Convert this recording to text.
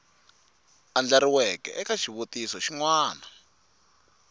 andlariweke eka xivutiso xin wana